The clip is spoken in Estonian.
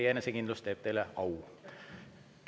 Ka teie enesekindlus teeb teile au.